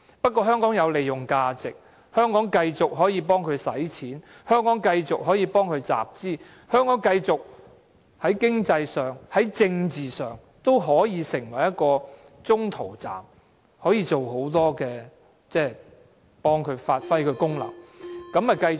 不過，香港有利用價值，可以繼續替它花錢、集資，香港在經濟和政治上都可以成為中途站，可以幫助它發揮功能，於是便繼續。